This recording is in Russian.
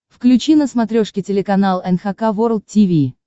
включи на смотрешке телеканал эн эйч кей волд ти ви